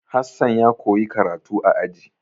Hassan ya koyi karatu a aji.